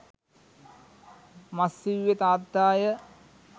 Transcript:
මස් ඉව්වේ තාත්තාය